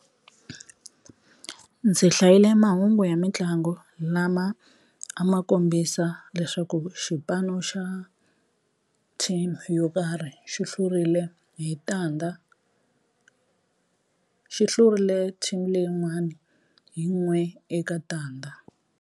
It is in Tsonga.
Ndzi hlayile mahungu ya mitlangu lama a ma kombisa leswaku xipano xa team yo karhi xi hlurile hi tandza xi hlurile team leyin'wani hi n'we eka tandza.